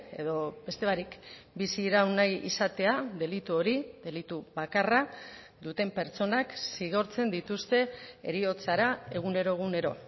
edo beste barik bizi iraun nahi izatea delitu hori delitu bakarra duten pertsonak zigortzen dituzte heriotzara egunero egunero